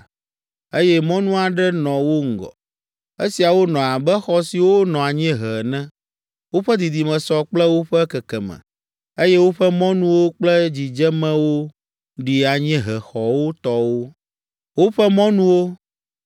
eye mɔnu aɖe nɔ wo ŋgɔ. Esiawo nɔ abe xɔ siwo nɔ anyiehe ene. Woƒe didime sɔ kple woƒe kekeme, eye woƒe mɔnuwo kple dzidzemewo ɖi anyiehexɔwo tɔwo. Woƒe mɔnuwo